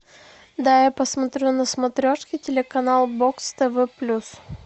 дай я посмотрю на смотрешке телеканал бокс тв плюс